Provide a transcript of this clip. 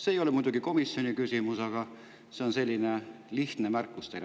See ei ole muidugi küsimus komisjoni, see on lihtsalt selline märkus teile.